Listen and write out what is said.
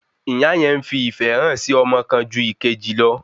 Ìyá yẹn ń fi ìfẹ́ hàn sí ọmọ kan ju ìkejì lọ